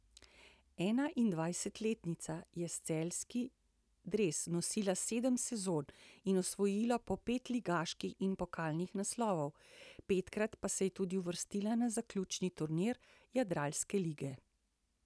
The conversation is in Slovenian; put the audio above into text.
Enaindvajsetletnica je celjski dres nosila sedem sezon in osvojila po pet ligaških in pokalnih naslovov, petkrat pa se je tudi uvrstila na zaključni turnir jadranske lige.